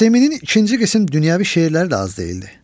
Nəsiminin ikinci qisim dünyəvi şeirləri də az deyildi.